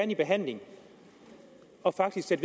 i behandling og faktisk